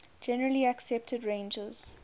generally accepted ranges